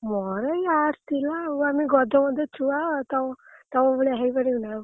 ମୋର ଏଇ Arts ଥିଲା ଆଉ ଆମେ ଗଧ ମଧ ଛୁଆ ତମ ତମ ଭଳିଆ ହେଇପାରିବୁନା ଆଉ।